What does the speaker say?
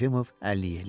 Yefimov əlini yelləyir.